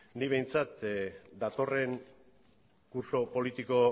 ni behintzat datorren kurtso politiko